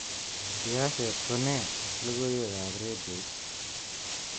Siaset ko nee logoiwekab redioit